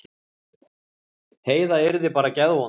Heiða yrði bara geðvond.